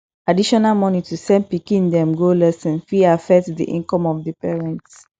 additional money to send pikin dem go lesson fit affect di income of the parents